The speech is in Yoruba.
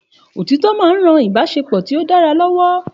Òtítọ́ máa ń ran Ìbáṣepọ̀ tí ó dára lọ́wọ́.